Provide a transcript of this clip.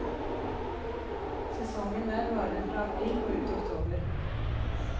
Sesongen der varer fra april og ut oktober.